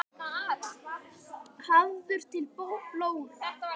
Hafður til blóra?